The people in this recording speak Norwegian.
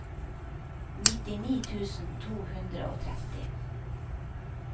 nittini tusen to hundre og tretti